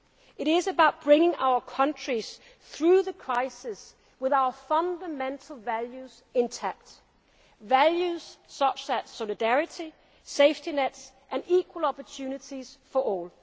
is not about abandoning our social model. It is, in fact, the opposite. It is about bringing our countries through the crisis with our fundamental values intact